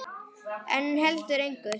En heldur engu.